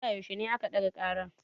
Zuwa yaushe a ka ɗaga ƙarar.